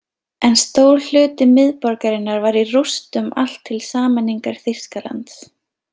En stór hluti miðborgarinnar var í rústum allt til sameiningar Þýskalands.